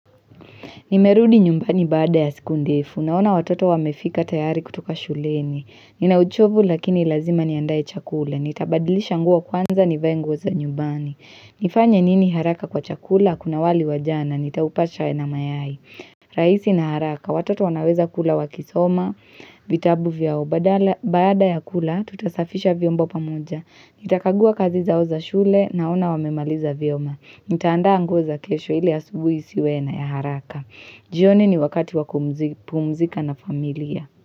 Nimerudi nyumbani baada ya siku ndefu. Naona watoto wamefika tayari kutoka shuleni. Ninauchovu lakini lazima niandaye chakula. Nitabadilisha nguo kwanza nivae nguo za nyumbani. Nifanya nini haraka kwa chakula? Kuna wali wajana. Nitaupasha na mayai. Raisi na haraka. Watoto wanaweza kula wakisoma. Vitabu vyao. Baada ya kula, tutasafisha vyombo pamoja. Nita kagua kazi zao za shule na ona wamemaliza vyema. Nitaanda nguo za kesho ili asubuhi isiwena ya haraka. Jioni ni wakati wakumpuzika na familia.